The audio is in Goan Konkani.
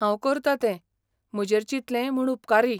हांव करतां तें, म्हजेर चिंतलें म्हूण उपकारी!